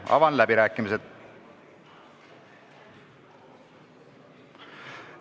Avan läbirääkimised.